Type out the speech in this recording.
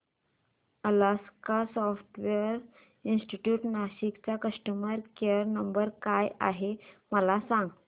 Alaska software institute Nashik चा customer care number काय आहे मला सांग